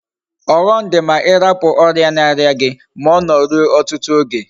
Oghom di ma irapu oria na aria gi, ma Ono rue otutu oge